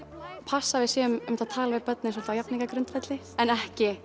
passa að við séum einmitt að tala við börnin á jafningjagrundvelli en ekki